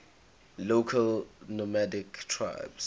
local nomadic tribes